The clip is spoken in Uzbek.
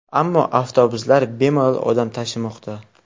Ammo avtobuslar bemalol odam tashimoqda.